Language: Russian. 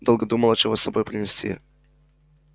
долго думала чего с собой принести